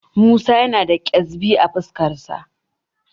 Musa yana da ƙyezbi a fuskarsa.